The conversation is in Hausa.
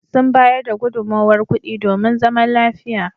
Sun bayar da gudunmowar kuɗi domin zaman lafiya.